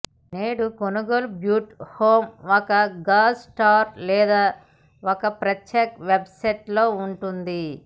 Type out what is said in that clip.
నేడు కొనుగోలు బూట్లు హోమ్ ఒక షూ స్టోర్ లేదా ఒక ప్రత్యేక వెబ్ సైట్ లో ఉంటుంది